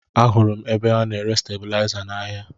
Ahụrụ m ebe a na-ere stebilaịza n'ahịa